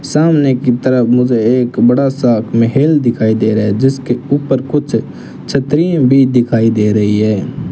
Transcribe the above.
सामने की तरफ मुझे एक बड़ा सा महल दिखाई दे रहा है जिसके ऊपर कुछ छतरियां भी दिखाई दे रही है।